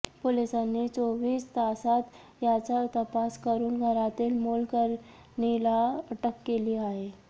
पोलिसांनी चोवीस तासात याचा तपास करुन घरातील मोलकरणीला अटक केली आहे